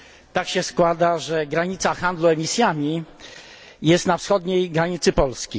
Tak się składa, że granica handlu emisjami znajduje się na wschodniej granicy Polski.